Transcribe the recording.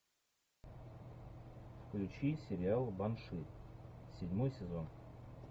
включи сериал банши седьмой сезон